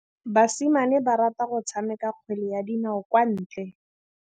Basimane ba rata go tshameka kgwele ya dinaô kwa ntle.